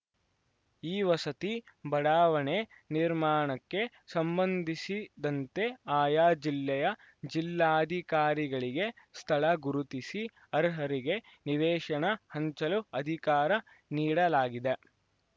ಈ ವಸತಿ ಬಡಾವಣೆ ನಿರ್ಮಾಣಕ್ಕೆ ಸಂಬಂಧಿಸಿದಂತೆ ಆಯಾ ಜಿಲ್ಲೆಯ ಜಿಲ್ಲಾಧಿಕಾರಿಗಳಿಗೆ ಸ್ಥಳ ಗುರುತಿಸಿ ಅರ್ಹರಿಗೆ ನಿವೇಶನ ಹಂಚಲು ಅಧಿಕಾರ ನೀಡಲಾಗಿದೆ